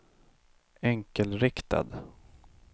enkelriktad